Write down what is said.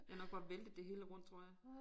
Jeg nok var væltet det hele rundt tror jeg